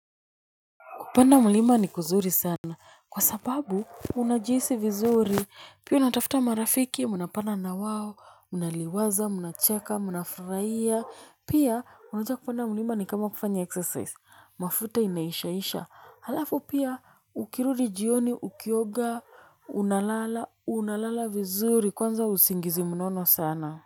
Kupanda mulima ni kuzuri sana, kwa sababu unajihisi vizuri, pia unatafuta marafiki, mnapanda na wao, mnaliwaza, mnacheka, mnafurahia, pia unajua kupanda mulima ni kama kufanya exercise. Mafuta imeishaisha, halafu pia ukirudi jioni, ukioga, unalala, unalala vizuri, kwanza usingizi mnono sana.